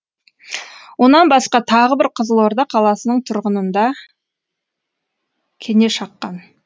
онан басқа тағы бір қызылорда қаласының тұрғынын да кене шаққан